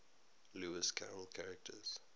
lewis carroll characters